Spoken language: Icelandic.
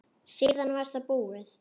Síðan var það búið.